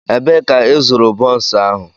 Ebee ka ịzụrụ bonsu ahu?